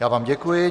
Já vám děkuji.